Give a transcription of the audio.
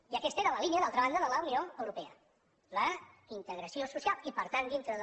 i aquesta era la línia d’altra banda de la unió europea la integració social i per tant dintre de